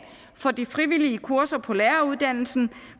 for de frivillige kurser på læreruddannelsen